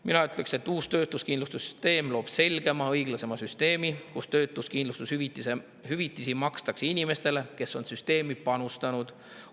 Mina ütleksin, et uus töötuskindlustussüsteem on selgem ja õiglasem, sest töötuskindlustushüvitisi makstakse inimestele, kes on süsteemi panustanud.